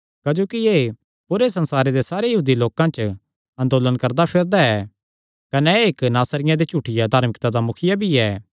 क्जोकि एह़ पूरे संसारे दे सारे यहूदी लोकां च अंदोलण करदाफिरदा ऐ कने एह़ इक्क नासरियां दे झूठिया धार्मिकता दा मुखिया भी ऐ